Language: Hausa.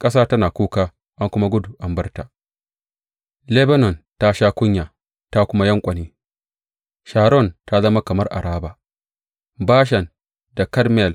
Ƙasa tana kuka an kuma gudu an bar ta, Lebanon ta sha kunya ta kuma yanƙwane; Sharon ta zama kamar Araba, Bashan da Karmel